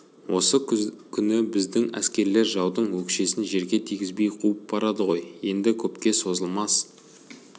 осы күні біздің әскерлер жаудың өкшесін жерге тигізбей қуып барады ғой енді көпке созылмас